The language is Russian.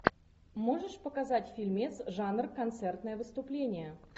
можешь показать фильмец жанр концертное выступление